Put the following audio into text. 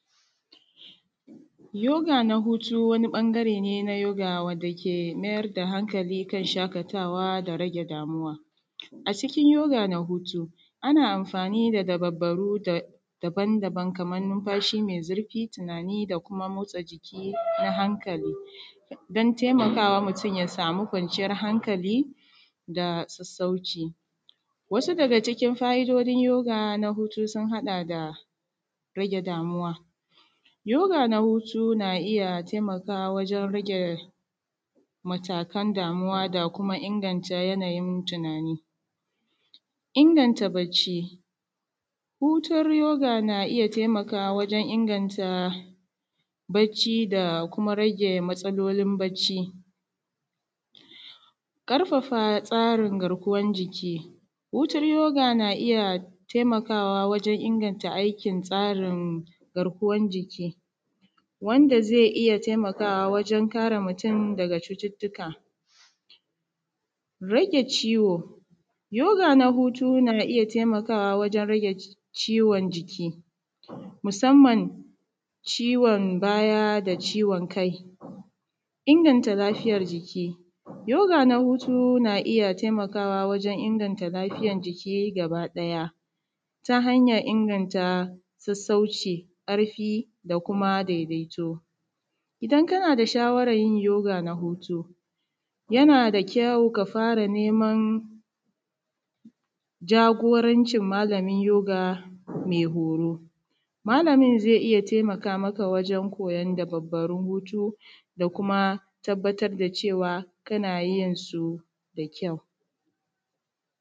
Yoga na hutu wani ɓangare ne na yoga wanda ke mayar da hankali kan shaƙatawa da rage damuwa. A cikin yoga na hutu ana amfani da dabarbaru daban-daban kaman numfashi mai zurfi tunani da kuma motsa jiki na hankali dan taimakawa mutum ya samu kwanciyan hankali da sassauci. Wasu daga cikin fa’idojin yoga na hutu sun haɗa da rage damuwa, yoga na hutu na iya taimakawa wajen rage matakan damuwa da kuma inganta yanayin tunani, inganta bacci hutun yoga na iya taimakawa wajen inganta bacci da kuma rage matsalolin bacci, ƙarfafa karin garkuwan jiki hutun yoga na iya taimakawa wajen inganta aikin tsarin garkuwan jiki wanda zai iya taimakawa wajen kare mutum daga cututtuka. Rage ciwo, yoga na hutu na iya taimakawa wajen rage ciwon jiki musamman ciwon baya da ciwon kai, inganta lafiyar jiki, yoga na hutu na iya taimakawa wajen inganta lafiyar jiki gabaɗaya ta hanyar inganta sassauci ƙarfi da kuma daidaito idan kana da shawaran yin yoga na hutu yana da kyau ka fara neman jagorancin malamin yoga mai horo, malamin zai iya taimaka maka wajen koyan dabarbarun hutu da kuma tabbatar da cewa kana yin su da kyau.